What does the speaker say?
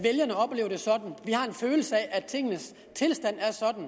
har en følelse af at tingenes tilstand